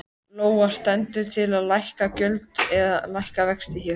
Lóa: Stendur til að lækka gjöld eða lækka vexti hér?